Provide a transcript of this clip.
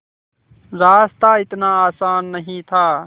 रास्ता इतना आसान नहीं था